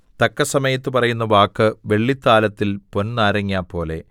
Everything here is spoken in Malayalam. തക്കസമയത്ത് പറയുന്ന വാക്ക് വെള്ളിത്താലത്തിൽ പൊൻനാരങ്ങാ പോലെ